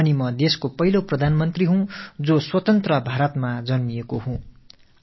சுதந்திர இந்தியாவில் பிறந்த முதல் பிரதம மந்திரி என்றால் அது நானாகத் தான் இருக்கும்